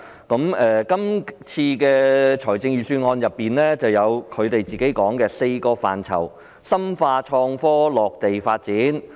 本年的財政預算案提出業界所倡議的"四大範疇深化創科落地發展"。